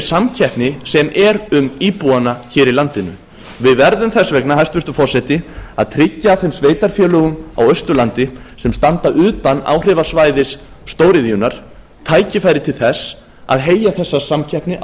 samkeppni sem er um íbúana hér í landinu við verðum þess vegna hæstvirtur forseti að tryggja þeim sveitarfélögum á austurlandi sem standa utan áhrifasvæðis stóriðjunnar tækifæri til þess að heyja þessa samkeppni á